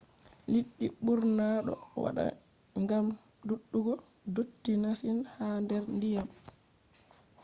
liɗɗi ɓurna ɗo wata gam dudugo dotti masin ha der diyam